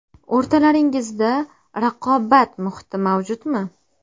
O‘rtalaringizda raqobat muhiti mavjudmi?